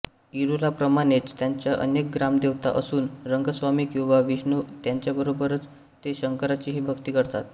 इरूलाप्रमाणेच त्यांच्या अनेक ग्रामदेवता असून रंगस्वामी किंवा विष्णू यांच्याबरोबरच ते शंकराचीही भक्ती करतात